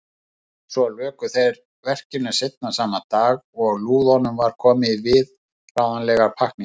Svo luku þeir verkinu seinna sama dag og lúðunni var komið í viðráðanlegar pakkningar.